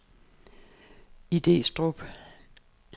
Idestrup